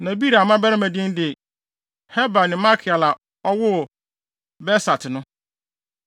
Na Beria mmabarima din de: Heber ne Malkiel a ɔwoo Birsait no.